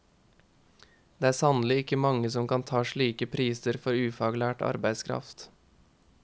Det er sannelig ikke mange som kan ta slike priser for ufaglært arbeidskraft.